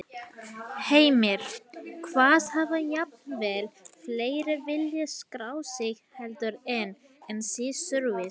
Heimir: Hvað, hafa jafnvel fleiri viljað skráð sig heldur en, en þið þurfið?